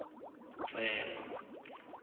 tsema